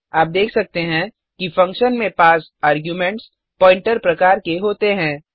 आप देख सकते हैं कि फंक्शन में पास आर्गुमेंट्स प्वॉइंटर प्रकार के होते हैं